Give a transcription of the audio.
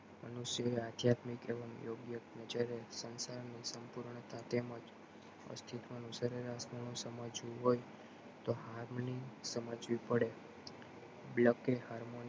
મનુષ્યે આધ્યાત્મિક એવમ યોગ્ય નજરે સંસાર નું સમુર્ણ તેમજ અસ્થીત્વ નું સરેશ આખું સમજવું હોય તો હાલ ની સમજવું પડે